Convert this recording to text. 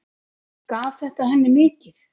Gaf þetta henni mikið.